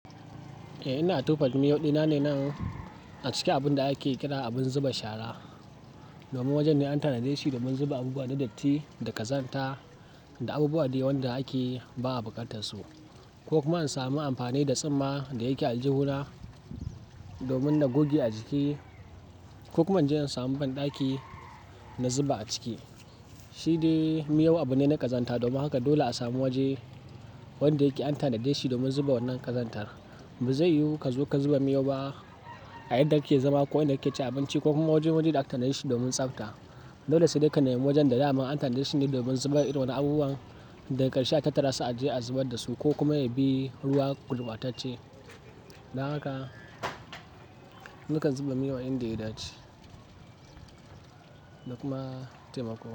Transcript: Eh ina tofa da miyau dina ne nan a cikin abun da ake kira abun zuba shara. Domin wajen ne an tanaje shi domin zuba abubuwa na datti, da ƙazanta da abubuwa dai wanda ake ba a bukatar su ko kuma in sami amfani da tsumma da yake a aljihuna domin na goge a jiki ko kuma inje in samu banɗaki na zuba a ciki. Shi dai miyau abu ne na ƙazanta domin haka dole a samu waje wanda yake an tanaje shi domin zuba wannan ƙazanta. Ba zai yiwu ka zo ka zuba miyau ba a inda kake zama ko inda kake cin abinci ko kuma waje wuri da aka tanaje shi domin tsafta. Dole sai dai ka nemi wajen da dama an tanaje shi ne domin zubar irin waɗannan abubuwan daga karshe a tattara su a je a zubar da su ko kuma ya bi ruwa gurbatashce. Don haka, nakan zuba miyau a inda ya dace da kuma taimako.